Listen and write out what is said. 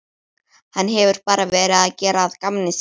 Hann hefur bara verið að gera að gamni sínu.